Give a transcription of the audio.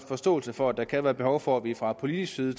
forståelse for at der kan være behov for at vi fra politisk side